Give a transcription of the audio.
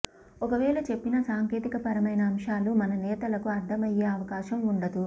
ఒక వేళ చెప్పినా సాంకేంతికపరమైన అంశాలు మన నేతలకు అర్థమయ్యే అవకాశం ఉండదు